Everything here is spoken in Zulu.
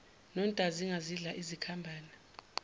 nontazinga zidla izikhambane